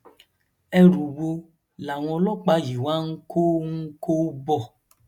ẹrù wo làwọn ọlọpàá yìí wá ń kó ń kó bọ